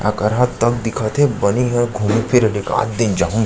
अकरहा तक दिखत हे बनी ह घूमे फिरे ल एकात दिन जाहू --